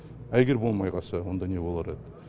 а егер болмай қалса онда не болар еді